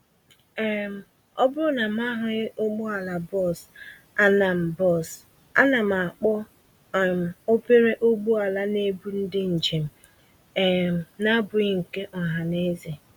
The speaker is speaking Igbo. um Ọbụrụ na mụ ahụghị ụgbọala bus, ánám bus, ánám akpọ um obere ụgbọala n'ebu ndị njèm um n'abụghị nke ohaneze